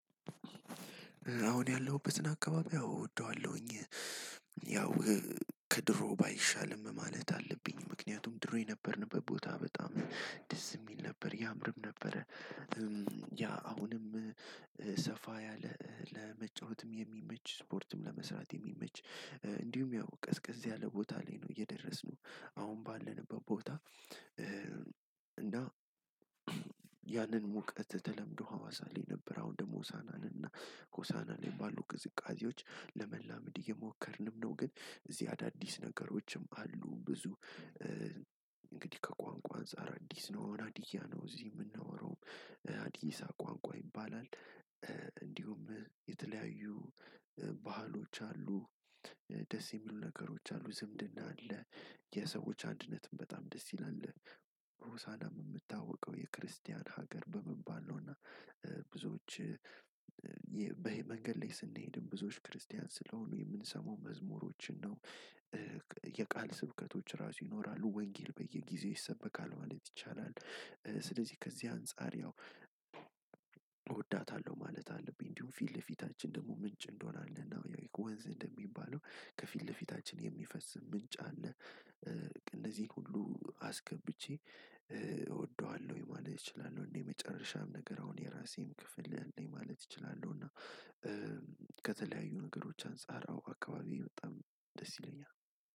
አሁን ያለሁበትን አካባቢ አዎ አወደዋለሁኝ። ያው ከድሮ ባይሻልም ማለት አለብኝ ምክንያቱም ድሮ የነበርንበት ቦታ በጣም ደስ የሚል ነበር ያምርም ነበረ። ያ አሁንም ሰፋ ያለ ለመጫወትም የሚመች ስፖርትም ለመስራት የሚመች እንዲሁም ያው ቀዝቀዝ ያለ ቦታ ላይ ነው የደረስነው አሁን ባለንበት ቦታ። እና ያንን ሙቀት ተለምዶ ሀዋሳ ላይ ነበር አሁን ደግሞ ሆሳእና ነን እና ሆሳእና ላይ ባሉ ቅዝቃዜዎች ለመላመድ እየሞከርንም ነው። ግን እዚህ አዳዲስ ነገሮችም አሉ ብዙ። እንግዲህ ከቋንቋ አንፃር አዲስ ነው ሃዲያ ነው እዚህ የምናወራው ሃዲይሳ ቋንቋ ይባላል። እንዲሁም የተለያዩ ባህሎች አሉ። ደስ የሚሉ ነገሮች አሉ ዝምድና አለ። የሰዎች አንድነትም በጣም ደስ ይላል። ሆሳዕናም የምትታወቀው የክርስቲያን ሀገር በመባል ነው። እና ብዙዎች በመንገድ ላይ ስንሄድ ብዙዎች ክርስቲያን ስለሆኑ የምንሰማው መዝሙሮችን ነው። የቃል ስብከቶች ራሱ ይኖራሉ ወንጌል በየጊዜው ይሰበካል ማለት ይቻላል። ስለዚህ ከዚህ አንፃር ያው እወዳታለሁ ማለት አለብኝ። እንዲሁም ፊት ለፊታችን ደግሞ ምንጭ እንደሆነ አለና ወንዝ እንደሚባለው ከፊት ለፊታችን የሚፈስ ምንጭ አለ። እንደዚህ ሁሉ አስገብቼ እወደዋለሁ ማለት እችላለሁ። እንዴ የመጨረሻም ነገር አሁን የራሴም ክፍል አለኝ ማለት እችላለሁ እና። ከተለያዩ ነገሮች አንፃር አዎ አካባቢው በጣም ደስ ይለኛል።